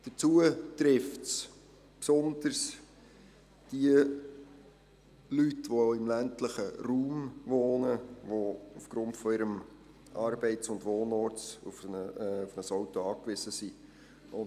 Hinzu kommt, dass es besonders jene trifft, die im ländlichen Raum wohnen, die aufgrund ihres Arbeits- und Wohnortes auf ein Auto angewiesen sind.